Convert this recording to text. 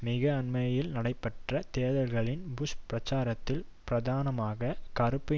மிக அண்மையில் நடைபெற்ற தேர்தல்களில் புஷ் பிரச்சாரத்தில் பிரதானமாக கறுப்பு